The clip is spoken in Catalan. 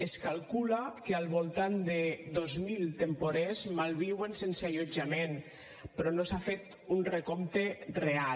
es calcula que al voltant de dos mil temporers malviuen sense allotjament però no s’ha fet un recompte real